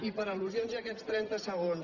i per al·lusions aquests trenta segons